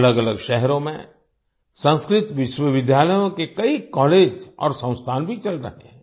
अलगअलग शहरों में संस्कृत विश्वविद्यालयों के कई कॉलेज और संस्थान भी चल रहे हैं